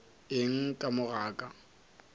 eng ka mo ga ka